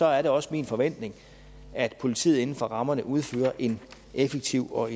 er det også min forventning at politiet inden for rammerne udfører en effektiv og